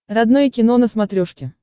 родное кино на смотрешке